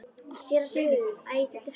SÉRA SIGURÐUR: Æ, það er hann!